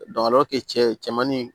cɛmannin